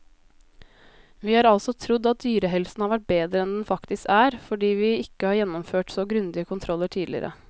Vi har altså trodd at dyrehelsen har vært bedre enn den faktisk er, fordi vi ikke har gjennomført så grundige kontroller tidligere.